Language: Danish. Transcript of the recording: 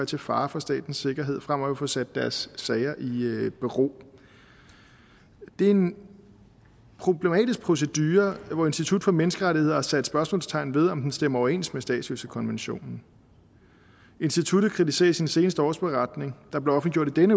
til fare for statens sikkerhed fremover vil få sat deres sager i i bero det er en problematisk procedure hvor institut for menneskerettigheder har sat spørgsmålstegn ved om den stemmer overens med statsløsekonventionen instituttet kritiserer i sin seneste årsberetning der blev offentliggjort